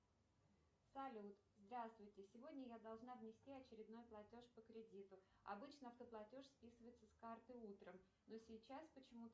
салют здравствуйте сегодня я должна внести очередной платеж по кредиту обычно автоплатеж списывается с карты утром но сейчас почему то